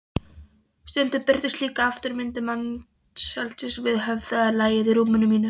Stundum birtust líka afmynduð mannsandlit við höfðalagið í rúminu mínu.